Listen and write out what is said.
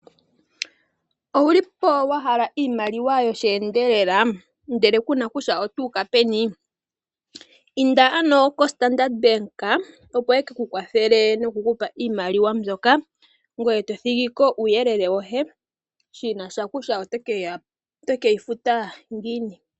Owuli po wahala iimaliwa yosheendelela , ndele kuna kutya otuuka peni? Inda ano koStandard Bank opo wu kapewe iimaliwa mbyoka ngoye tothigiko uuyelele woye , shinasha kutya oteke yi futa ngiini.